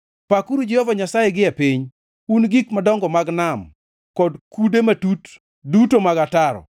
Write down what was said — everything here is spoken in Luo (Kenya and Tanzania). Pakuru Jehova Nyasaye gie piny, un gik madongo mag nam kod kude matut duto mag ataro,